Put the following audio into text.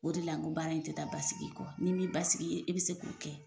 O de la n ko baara in ti taa basigi kɔ ni min basigi i be se k'o kɛ